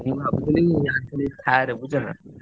ମୁଁ ଭାବୁଥିଲି ।